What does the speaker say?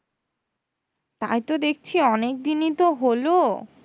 তাইতো দেখছি অনেক দিনই তো হলো,